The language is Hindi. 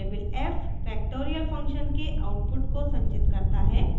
variable f factorial function के output को संचित करता है